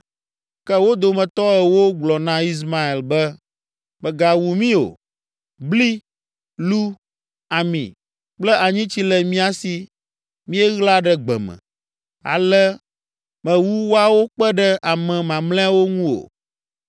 Ke wo dometɔ ewo gblɔ na Ismael be, “Mègawu mí o! Bli, lu, ami kple anyitsi le mía si míeɣla ɖe gbe me.” Ale mewu woawo kpe ɖe ame mamlɛawo ŋu o.